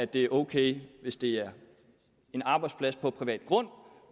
det er ok hvis det er en arbejdsplads på privat grund